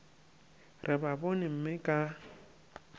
re ba bone mme ka